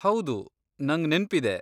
ಹೌದು, ನಂಗ್ ನೆನ್ಪಿದೆ.